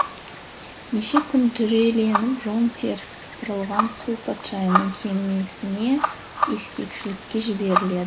неше күн дүреленіп жон терісі сыпырылған құл патшайымның кемесіне ескекшілікке